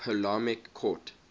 ptolemaic court